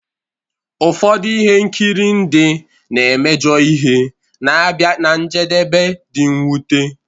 Ụfọdụ ihe nkiri ndị na-emejọ ihe na-abịa ná njedebe dị mwute